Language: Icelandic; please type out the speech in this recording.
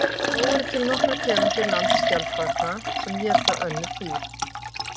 Þó eru til nokkrar tegundir landskjaldbaka sem éta önnur dýr.